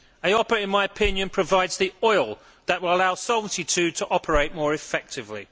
EIOPA, in my opinion, provides the oil that will allow Solvency II to operate more effectively.